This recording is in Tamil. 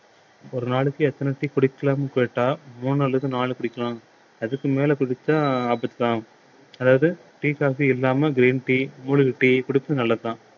ஒரு நாளைக்கு எத்தன tea குடிக்கலாம்ன்னு கேட்டா மூணு அல்லது நாலு குடிக்கலாம் அதுக்கு மேல குடிச்சா ஆபத்து ஆகும் அதாவது tea coffee இல்லாம green tea மூலிகை tea குடிப்பது நல்லதுதான்